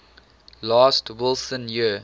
last wilson year